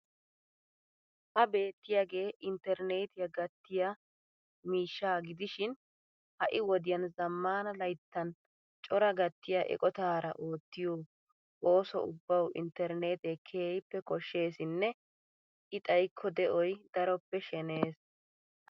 Ha beettiyaagee interneetiya gatiya miishshaa gidishshiin ha'i wodiyan zamaana layttan cora gattiya eqotaara oottiyo ooso ubbawu internetee keehippe koshsheesinne I xaykko de'oy darooppe sheneyees.